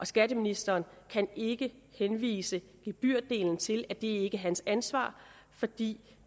skatteministeren ikke kan henvise gebyrdelen til at det ikke er hans ansvar fordi